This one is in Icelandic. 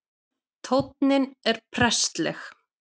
Tónninn er prestleg